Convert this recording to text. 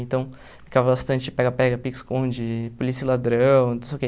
Então, brincava bastante de pega-pega, pique-esconde, polícia e ladrão, não sei o quê.